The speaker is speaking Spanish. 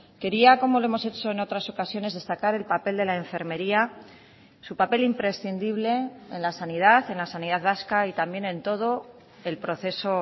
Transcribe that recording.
quería como lo hemos hecho en otras ocasiones destacar el papel de la enfermería su papel imprescindible en la sanidad en la sanidad vasca y también en todo el proceso